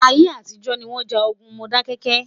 ayé àtijó ní wón já ogún Modákéké